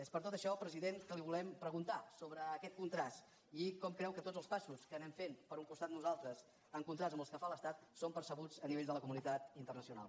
és per tot això president que li volem preguntar sobre aquest contrast i com creu que tots els passos que anem fent per un costat nosaltres en contrast amb els que fa l’estat són percebuts a nivell de la comunitat internacional